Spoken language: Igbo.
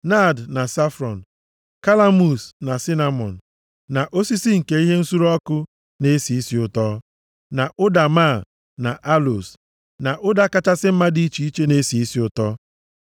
naad na safron, kalamus na sinamọn, na osisi nke ihe nsure ọkụ na-esi isi ụtọ, na ụda máá, na aloos na ụda kachasị mma dị iche iche na-esi isi ụtọ.